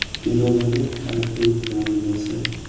Irodaning haqiqiy namunasi.